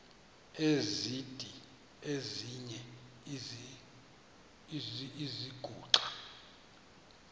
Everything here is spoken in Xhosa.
esidl eziny iziguqa